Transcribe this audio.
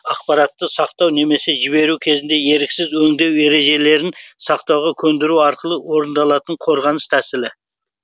ақпаратты сақтау немесе жіберу кезінде еріксіз өңдеу ережелерін сақтауға көндіру арқылы орындалатын қорғаныс тәсілі